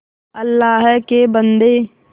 अल्लाह के बन्दे